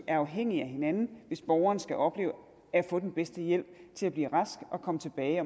er afhængige af hinanden hvis borgeren skal opleve at få den bedste hjælp til at blive rask og komme tilbage